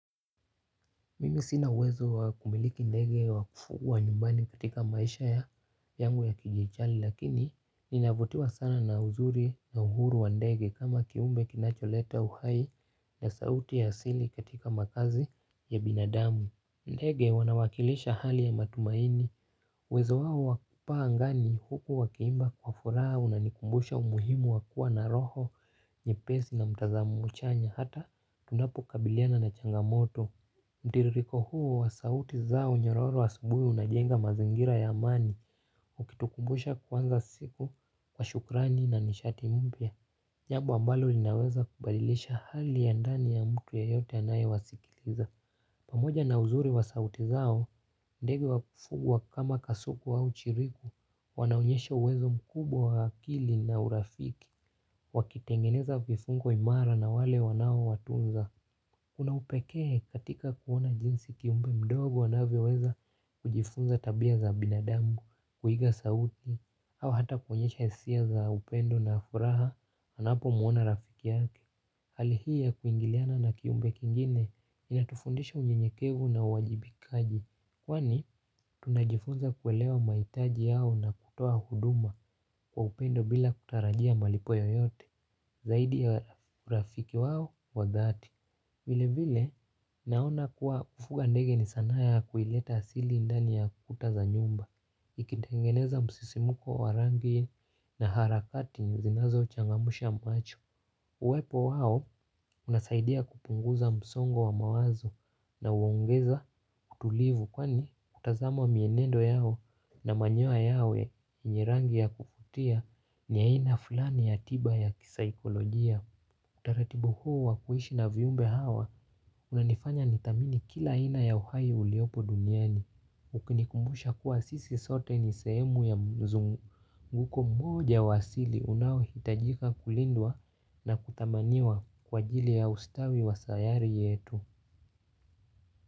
Mimi sina uwezo wa kumiliki ndege wakufuga nyumbani katika maisha yangu ya kijichali lakini ninavutiwa sana na uzuri na uhuru wa ndege kama kiumbe kinacholeta uhai na sauti ya asili katika makazi ya binadamu. Ndege wanawakilisha hali ya matumaini, uwezo wao wakupaa angani huku wakiimba kwa furaha unanikumbusha umuhimu wakua na roho, nyepesi na mtazamo chanya hata tunapo kabiliana na changamoto. Mtiririko huo wa sauti zao nyororo wa asubuhi unajenga mazingira ya amani, ukitukumbusha kwanza siku kwa shukrani na nishati mpya. Nyabu ambalo linaweza kubadilisha hali ya ndani ya mtu ya yote anaye wasikiliza. Pamoja na uzuri wa sauti zao, ndege wa kufugwa kama kasuku au chiriku, wanaonyesha uwezo mkubwa wa akili na urafiki. Wakitengeneza vifungo imara na wale wanao watunza kuna upekee katika kuona jinsi kiumbe mdogo anavyoweza kujifunza tabia za binadamu, kuiga sauti au hata kuonyesha hisia za upendo na furaha, anapo muona rafiki yake. Hali hii ya kuingiliana na kiumbe kingine inatufundisha unyenyekevu na uwajibikaji kwani tunajifunza kuelewa mahitaji yao na kutoa huduma kwa upendo bila kutarajia malipo yoyote. Zaidi ya urafiki wao wa dhati vile vile naona kuwa kufuga ndege ni sanaa ya kuileta asili indani ya kuta za nyumba ikitengeneza musisimuko wa rangi na harakati zinazo changamsha macho. Uwepo wao unasaidia kupunguza msongo wa mawazo na uongeza kutulivu kwani utazamo mienendo yao na manyoya yao yenye rangi ya kufutia ni aina fulani ya tiba ya kisaikolojia. Utaratibu huu wakuhishi na viumbe hawa unanifanya nidhamini kila ina ya uhai uliopo duniani. Ukinikumbusha kuwa sisi sote ni sehemu ya mzunguko mmoja wasili unaohitajika kulindwa na kutamaniwa kwa jili ya ustawi wa sayari yetu.